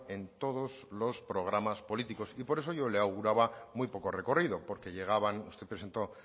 en todos los programas políticos y por eso yo la auguraba muy poco recorrido porque llegaban usted presentó